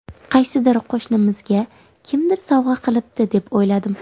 Qaysidir qo‘shnimizga kimdir sovg‘a qilibdi, deb o‘yladim.